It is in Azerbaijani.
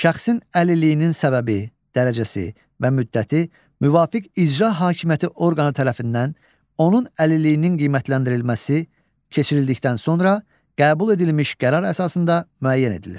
Şəxsin əlilliyinin səbəbi, dərəcəsi və müddəti müvafiq icra hakimiyyəti orqanı tərəfindən onun əlilliyinin qiymətləndirilməsi keçirildikdən sonra qəbul edilmiş qərar əsasında müəyyən edilir.